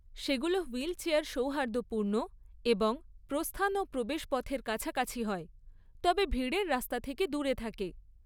সেগুলো হুইলচেয়ার সৌহার্দপূর্ণ এবং প্রস্থান ও প্রবেশ পথের কাছাকাছি হয়, তবে ভিড়ের রাস্তা থেকে দূরে থাকে।